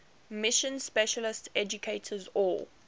mission specialist educators or